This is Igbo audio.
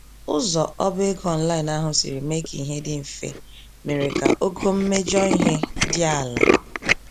Ụzọ oba-ego online ahụ siri mee k'ihe dị mfe, mere ka ogo mmejọ ihe dị àlà.